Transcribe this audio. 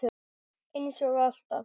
Eins og alltaf.